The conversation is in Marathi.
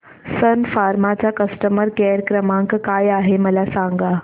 सन फार्मा चा कस्टमर केअर क्रमांक काय आहे मला सांगा